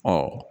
Ɔ